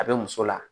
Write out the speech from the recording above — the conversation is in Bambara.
A bɛ muso la